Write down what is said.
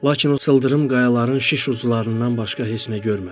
Lakin o cılız qayaların şiş uclarından başqa heç nə görmədi.